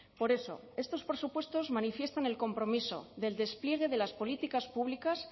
por eso estos presupuestos manifiestan el compromiso del despliegue de las políticas públicas